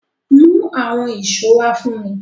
Mú àwọn ṣó fún mi!